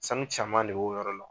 Sanu caman de b'o yɔrɔ la